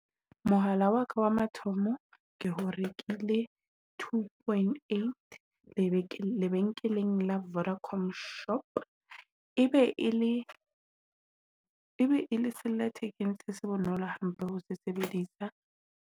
Mohala wa ka wa mathomo, ke rekile two point eight lebenkeleng la Vodacom Shop, e be e le ebe le thekeng se bonolo hampe ho se sebedisa.